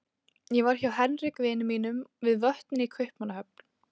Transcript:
Ég var hjá Henrik vini mínum við Vötnin í Kaupmannahöfn.